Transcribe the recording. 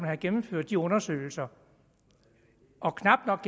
har gennemført de undersøgelser og knap nok